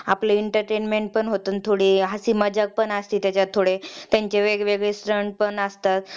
आपलं entertainment पण होत आणि थोडी हसी मजाक पण असते त्याज्यात त्यांचे वेगवेगळे stunts पण असतात